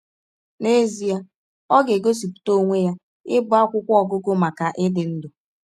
N’ezie ọ ga - egosipụta ọnwe ya ịbụ akwụkwọ ọgụgụ maka ịdị ndụ!